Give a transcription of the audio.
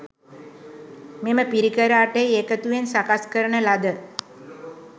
මෙම පිරිකර අටෙහි එකතුවෙන් සකස් කරන ලද